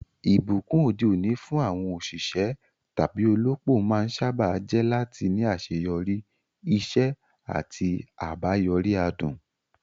Ìbùkún òde òní fún àwọn òṣìṣẹ́ tàbí olópò máa ń sáábà jẹ́ láti ní àṣeyọrí, iṣẹ́ àti àbáyọrí adùn.